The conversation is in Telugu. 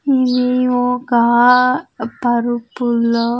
ఇది ఒక్క పరుపులో.